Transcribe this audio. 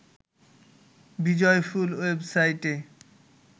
বিজয়ফুল ওয়েবসাইটে